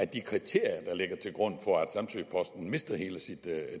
de kriterier der ligger til grund for at samsø posten mister hele sit